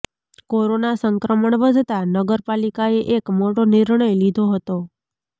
corona સંક્રમણ વધતા નગરપાલિકાએ એક મોટો નિર્ણય લીધો હતો